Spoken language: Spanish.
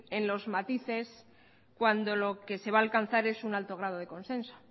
en los matices cuando lo que se va a alcanzar es un alto grado de consenso